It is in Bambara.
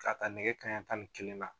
K'a ka nɛgɛ kaɲɛ tan ni kelen na